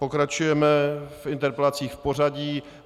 Pokračujeme v interpelacích v pořadí.